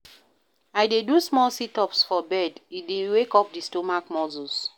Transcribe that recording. I dey do small sit-ups for bed, e dey wake up di stomach muscles.